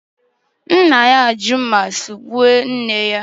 Nna ya ji mma sugbuo nne ya